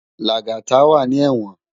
Lagata wá ni èwòn